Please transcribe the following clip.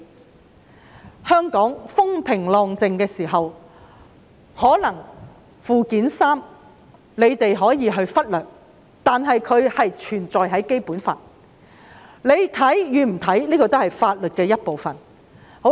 在香港風平浪靜時，我們可能忽略《基本法》附件三，但它卻確實存在於《基本法》之內，成為法律的一部分。